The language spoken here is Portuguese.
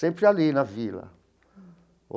Sempre ali na vila.